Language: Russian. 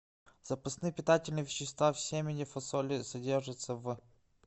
запасные питательные вещества в семени фасоли содержится в